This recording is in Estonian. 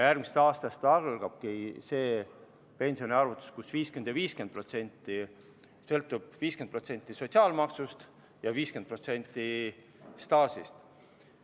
Järgmisest aastast algabki see pensioniarvutus, kus on 50% ja 50%: 50% sõltub sotsiaalmaksust ja 50% staažist.